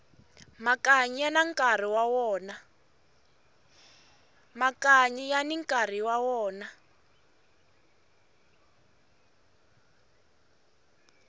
makanyi yani nkarhi wa wona